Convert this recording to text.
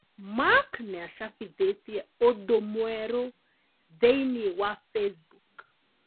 Mark niacabithirie ũndũ mwerũ thĩinĩ wa Facebook